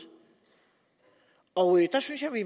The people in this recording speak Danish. og der synes jeg vi